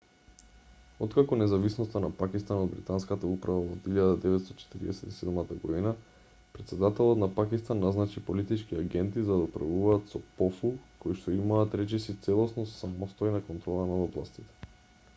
откако независноста на пакистан од британската управа во 1947 година претседателот на пакистан назначи политички агенти за да управуваат со пофу коишто имаат речиси целосно самостојна контрола над областите